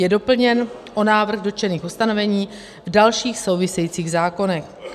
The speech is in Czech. Je doplněn o návrh dotčených ustanovení v dalších souvisejících zákonech.